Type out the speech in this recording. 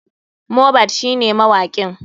Mohbad shine mawakin.